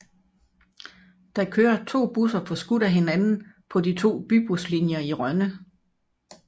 Der kører to busser forskudt af hinanden på de to bybuslinjer i Rønne